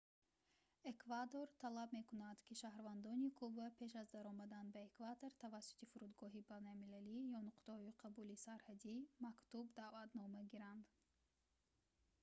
эквадор талаб мекунад ки шаҳрвандони куба пеш аз даромадан ба эквадор тавассути фурудгоҳҳои байналмилалӣ ё нуқтаҳои қабули сарҳадӣ мактуб-даъватнома гиранд